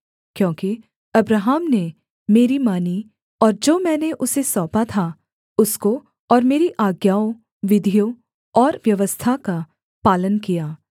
क्योंकि अब्राहम ने मेरी मानी और जो मैंने उसे सौंपा था उसको और मेरी आज्ञाओं विधियों और व्यवस्था का पालन किया